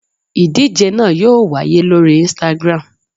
Ìdíje náà yóò wáyé lórí Instagram